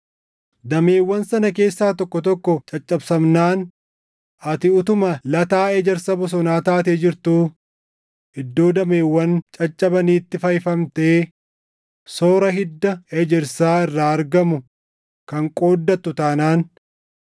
Dameewwan sana keessaa tokko tokko caccabsamnaan ati utuma lataa ejersa bosonaa taatee jirtuu iddoo dameewwan caccabaniitti fayyifamtee soora hidda ejersaa irraa argamu kan qooddattu taanaan,